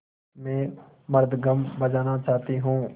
मैं मृदंगम बजाना चाहती हूँ